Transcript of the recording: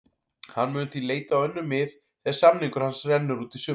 Hann mun því leita á önnur mið þegar samningur hans rennur út í sumar.